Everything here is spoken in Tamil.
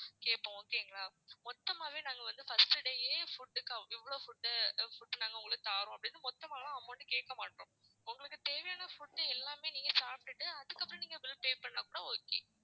கேப்போம் okay ங்களா. மொத்தமாவே நாங்க வந்து first day ஏ food க்கு இவ்ளோ food food நாங்க உங்களுக்கு தாரோம் அப்படின்னு மொத்தமாலாம் amount கேக்க மாட்டோம். உங்களுக்கு தேவையான food உ எல்லாமே நீங்க சாப்ட்டுட்டு அதுக்கு அப்புறம் நீங்க bill pay பண்ணா கூட okay